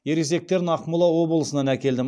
ересектерін ақмола облысынан әкелдім